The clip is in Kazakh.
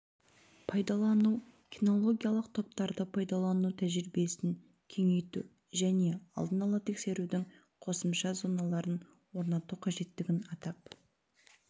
пайдалану кинологиялық топтарды пайдалану тәжірибесін кеңейту және алдын ала тексерудің қосымша зоналарын орнату қажеттігін атап